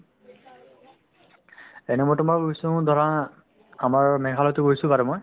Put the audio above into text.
এনে মই তোমাৰ গৈছো ধৰা আমাৰ মেঘালয়তো গৈছো বাৰু মই